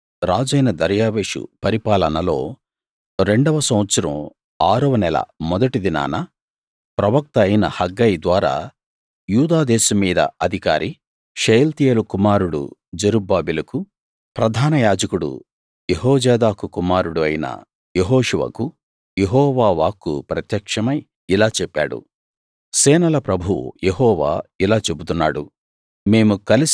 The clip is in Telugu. రాజైన దర్యావేషు పరిపాలనలో రెండవ సంవత్సరం ఆరవ నెల మొదటి దినాన ప్రవక్త అయిన హగ్గయి ద్వారా యూదా దేశం మీద అధికారి షయల్తీయేలు కుమారుడు జెరుబ్బాబెలుకు ప్రధానయాజకుడు యెహోజాదాకు కుమారుడు అయిన యెహోషువకు యెహోవా వాక్కు ప్రత్యక్షమై ఇలా చెప్పాడు సేనల ప్రభువు యెహోవా ఇలా చెబుతున్నాడు